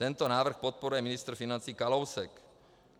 Tento návrh podporuje ministr financí Kalousek.